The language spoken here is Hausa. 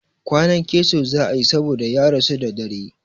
Kwanan keso za a yi saboda ya rasu da dare.